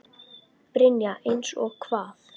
Brynja: Eins og hvað?